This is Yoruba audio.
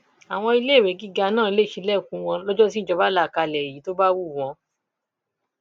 àwọn iléèwé gíga náà lè ṣílẹkùn wọn lọjọ tíjọba là kalẹ yìí tó bá wù wọn